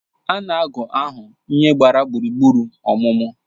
Ana agu ahụ ihe gbara gburugburu ọmụmụ